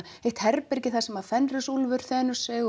eitt herbergi þar sem fenrisúlfur þenur sig